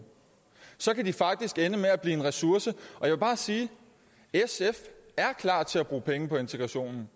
kan de faktisk ende med at blive en ressource jeg vil bare sige sf er klar til at bruge penge på integrationen